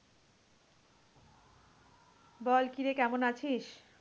বল কি রে, কেমন আছিস?